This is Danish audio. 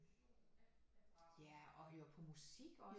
Ja og høre på musik også